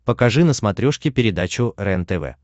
покажи на смотрешке передачу рентв